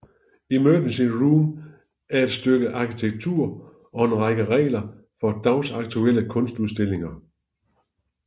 Emergency Room er et stykke arkitektur og en række regler for dagsaktuelle kunstudstillinger